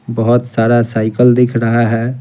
बहुत सारा साइकिल दिख रहा है।